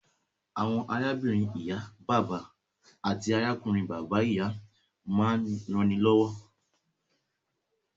Àwọn arábìnrin ìyá/bàbà àti arákùnrin bàbá/ìyá máa ń rannilọ́wọ́